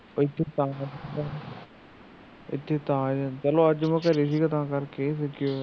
ਇੱਥੇ ਤਾਂ ਆਇਆ ਚਲੋ ਅੱਜ ਘਰ ਸੀਗਾ ਤਾ ਕਰਕੇ